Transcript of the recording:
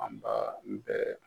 Anba n bɛɛ